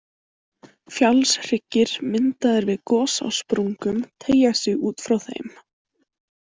Fjallshryggir myndaðir við gos á sprungum teygja sig út frá þeim.